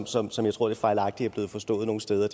som som jeg tror det fejlagtigt er blevet forstået nogle steder